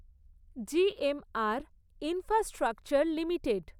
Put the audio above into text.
G. M. R infrastructure limited